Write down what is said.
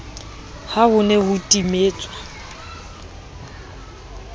ha ho ne ho timetswa